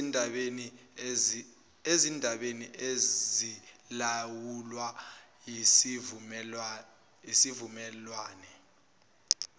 ezindabeni ezilawulwa yisivumelwane